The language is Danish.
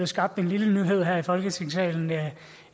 skabt en lille nyhed her i folketingssalen